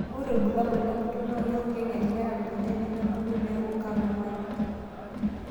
Ore rbulabol Lenkurto naa keeku keng'ering'era mbenek nemebulu neeku katumani.